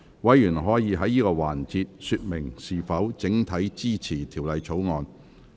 委員可在此環節說明是否整體支持《條例草案》。